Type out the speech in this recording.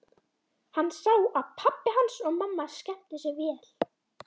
Hann sá að pabbi hans og mamma skemmtu sér vel.